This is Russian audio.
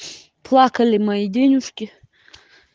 плакали мои денежки